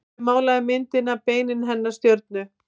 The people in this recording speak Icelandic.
Hver málaði myndina Beinin hennar stjörnu?